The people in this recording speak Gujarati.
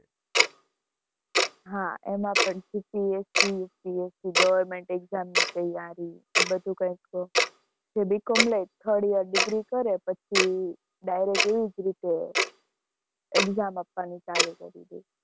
હા એમાં પણ GPSC government exam ની તૈયારી, એ બધું B. com. લે, third year degree કરે પછી direct એવી જ રીતે exam આપવાની ચાલુ કરી દે.